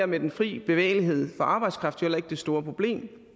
med den fri bevægelighed for arbejdskraft jo heller ikke det store problem